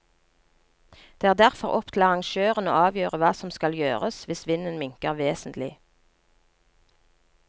Det er derfor opp til arrangøren å avgjøre hva som skal gjøres hvis vinden minker vesentlig.